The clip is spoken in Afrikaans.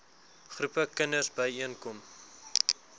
groepe kinders byeenkom